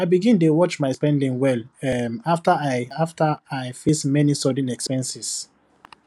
i begin dey watch my spending well um after i after i face many sudden expenses